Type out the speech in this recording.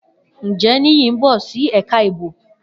Njẹ Niyi n bọ si ẹka ibo?